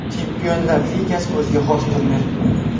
Chempionlar Ligasi o‘ziga xos turnir.